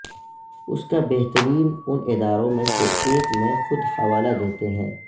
اس کا بہترین ان اداروں میں سے ایک میں خود حوالہ دیتے ہیں